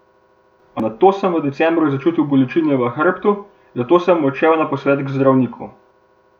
Nato sem v decembru začutil bolečine v hrbtu, zato sem odšel na posvet k zdravniku.